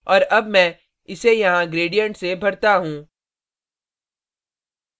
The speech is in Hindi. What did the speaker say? और अब मैं इसे यहाँ gradient से भरता हूँ